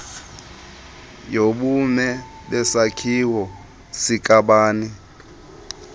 yobume besakhiwo sikabani